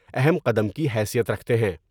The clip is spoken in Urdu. اہم قدم کی حیثیت رکھتے ہیں ۔